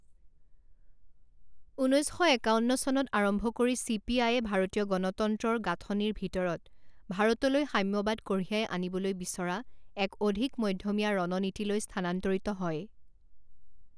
ঊনৈছ শ একাৱন্ন চনত আৰম্ভ কৰি চি পি আইয়ে ভাৰতীয় গণতন্ত্ৰৰ গাঁথনিৰ ভিতৰত ভাৰতলৈ সাম্যবাদ কঢ়িয়াই আনিবলৈ বিচৰা এক অধিক মধ্যমীয়া ৰণনীতিলৈ স্থানান্তৰিত হয়।